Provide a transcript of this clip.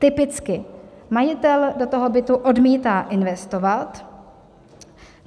Typicky majitel do toho bytu odmítá investovat.